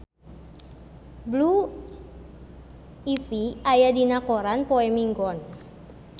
Blue Ivy aya dina koran poe Minggon